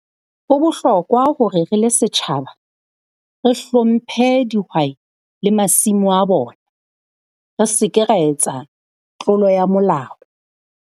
Ho bohlokwa hore re le setjhaba, re hlomphe dihwai le masimo a bona, re se ke ra etsa tlolo ya molao.